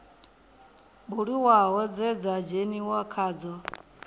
buliwaho dze dza dzheniwa khadzo